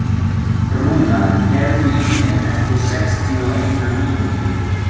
Rúnar, heyrðu í mér eftir sextíu og eina mínútur.